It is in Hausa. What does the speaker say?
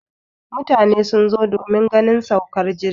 mutane sun zo domin ganin saukar jirgi